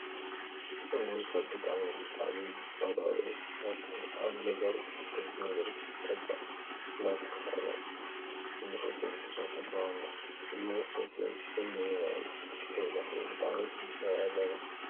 እውይ! ካብ ብጣዕሚ! ብጣዕሚ! ዝፀልኦ እንስሳት ኣብ ገዛን ኣብ ደገን ዝርከብ ጠበቅ እንዳበልና እንፈልጦ እንስሳ እዩ። ጠበቅ ንሰትዮን እንበልዖን ከይለክፎ ብጣዕሚ ክንጥቀቅ ኣለና።